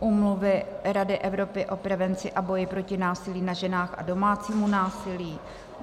Úmluvy Rady Evropy o prevenci a boji proti násilí na ženách a domácímu násilí.